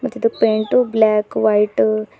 ತಿದು paint black white --